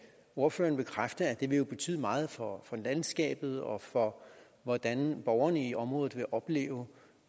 ordføreren bekræfte at det vil betyde meget for landskabet og for hvordan borgerne i området vil opleve